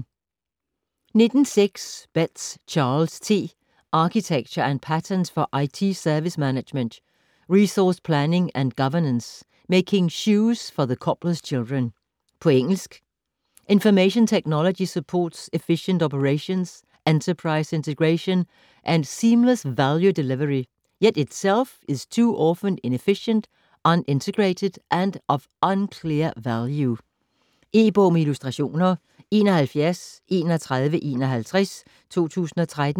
19.6 Betz, Charles T.: Architecture & patterns for IT service management, resource planning, and governance: Making shoes for the cobbler's children På engelsk. Information technology supports efficient operations, enterprise integration, and seamless value delivery, yet itself is too often inefficient, un-integrated, and of unclear value. E-bog med illustrationer 713151 2013.